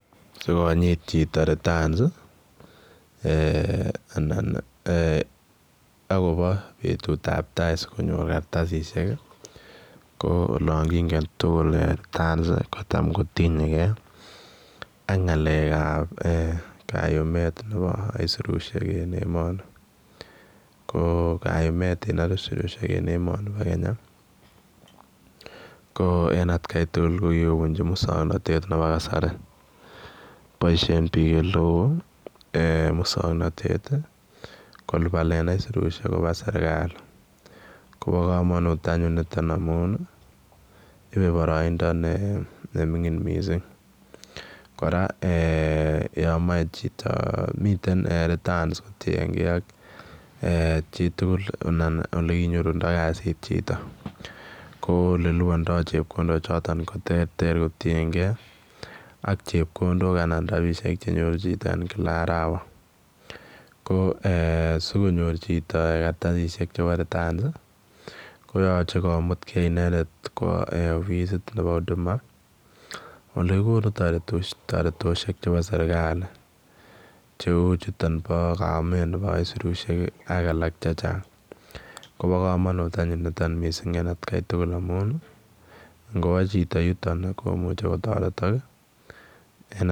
Sikonyiit chitoo returns ii anan ii agobo betut ab tai sikonyoor kartasisiek ii ko olaan kongeen tuguul returns kotaam ko tinyei gei ak ngalek ab kayumet nebo aisirusiek en emani ko kayumet nebo aisirusiek en emanii bo Kenya ko en at Kai tugul ko kikobunjii musangnatet nebo kasari boisien biik ele wooh musangnatet kolupanen aisirusiek kobaa serikali koba kamanut anyuun nitoon amuun ii iibe baraindaa ne mingin missing kora yaan Mae chitoo miten returns ko tienkei ak eeh chii tugul anan ole kinyorunda kaziit chitoo ko ole lupandaa chepkondook chotoon ko terter kotiengei ak chepkondook anan rapisheek che nyoruu chitoo en kila arawa ko eeh sikonyoor chitoo kartasisiek chebo returns koyachei komut gei chitoo kowaa offisiit nebo huduma ole kokonuu taretoshek chebo serikali che uu chutoon bo kaumeet nebo aisirusiek ak alaak che chaang koba kamanut anyuun missing nitoon en at Kai tugul amuun ingowaa chitoo yutoon komuchei kotaretak.